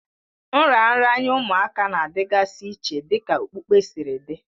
Nraranye ụmụaka na-adịgasị iche dịka okpukpe siri dị